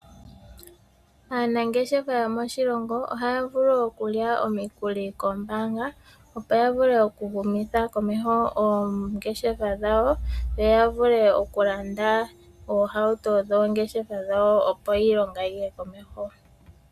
Aanangeshefa yomoshilongo ohaya vulu okulya omikuli koombaanga, opo ya vule oku humitha komeho oongeshefa dhawo. Yo ya vule okulanda oohauto dhoongeshefa dhawo, opo iilonga yiye komeho.